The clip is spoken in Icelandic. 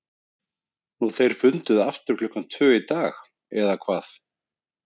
Nú þeir funduðu aftur klukkan tvö í dag, eða hvað?